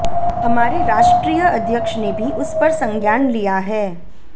हमारे राष्ट्रीय अध्यक्ष ने भी उस पर संज्ञान लिया है